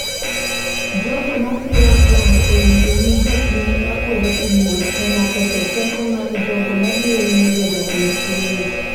Jogo ma siro Trump oyie ni jopiny ma kwedo pinyno temo ketho teko mar jogo mabiro yiero jatend pinyno.